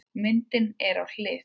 Myndin er á hlið.